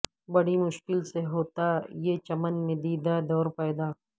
بڑی مشکل سے ہوتا یے چمن میں دیدہ دور پیدا